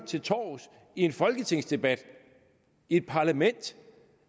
til torvs i en folketingsdebat i et parlament